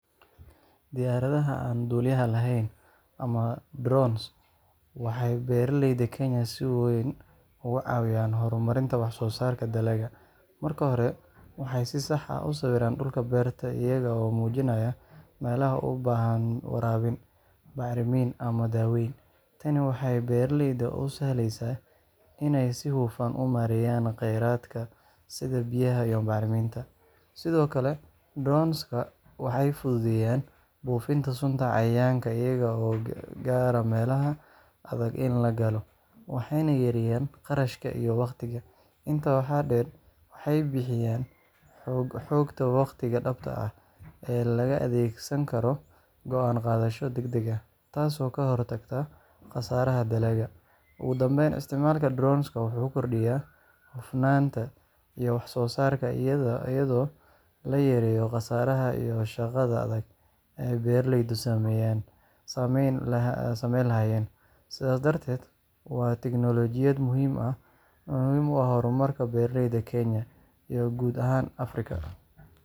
Diyaaradaha aan duuliyaha lahayn, ama "drones", waxay beeraleyda Kenya si weyn uga caawiyaan horumarinta wax-soo-saarka dalagga. Marka hore, waxay si sax ah u sawiraan dhulka beerta iyaga oo muujinaya meelaha u baahan waraabin, bacrimin, ama daaweyn. Tani waxay beeraleyda u sahlaysaa inay si hufan u maareeyaan kheyraadka sida biyaha iyo bacriminta. Sidoo kale, drones-ka waxay fududeeyaan buufinta sunta cayayaanka iyaga oo gaara meelaha adag in la galo, waxayna yareeyaan kharashka iyo waqtiga. Intaa waxaa dheer, waxay bixiyaan xogta waqtiga-dhabta ah ee laga adeegsan karo go'aan-qaadasho degdeg ah, taasoo ka hortagta khasaaraha dalagga. Ugu dambeyn, isticmaalka drones-ka wuxuu kordhiyaa hufnaanta iyo wax-soo-saarka iyadoo la yareeyo khasaaraha iyo shaqada adag ee beeralaydu samayn lahaayeen gacanta. Sidaas darteed, waa tiknoolajiyad muhiim u ah horumarka beeralayda Kenya iyo guud ahaan Afrika.